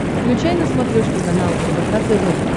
включай на смотрешке канал рбк тв